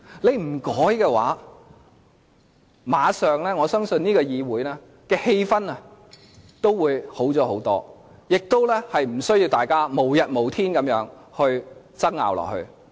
這樣的話，我相信這個議會的氣氛立即會好轉，大家亦無需無止境地爭拗下去。